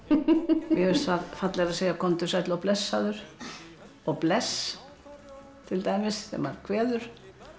mér finnst fallegra að segja komdu sæll og blessaður og bless til dæmis þegar maður kveður